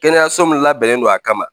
Kɛnɛyaso min labɛnnen don a kama